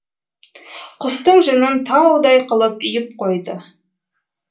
құстың жүнін таудай қылып үйіп қойды